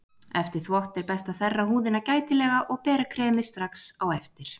Eftir þvott er best að þerra húðina gætilega og bera kremið strax á eftir.